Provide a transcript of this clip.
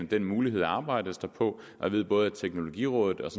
den mulighed arbejdes der på jeg ved at både teknologirådet